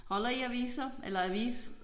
Holder I aviser eller avis?